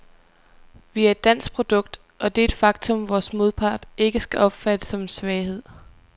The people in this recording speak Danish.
Vi er et dansk produkt, og det er et faktum, vores modpart ikke skal opfatte som en svaghed.